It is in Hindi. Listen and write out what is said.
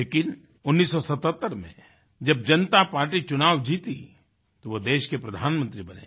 लेकिन 1977 में जब जनता पार्टी चुनाव जीती तो वे देश के प्रधानमंत्री बने